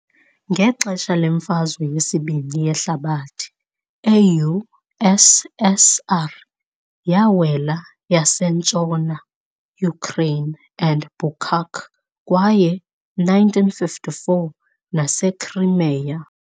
Ngexesha leMfazwe yeSibini yeHlabathi eU.SSR yawela yasentshona Ukraine and Bucak kwaye 1954 - NaseCrimea.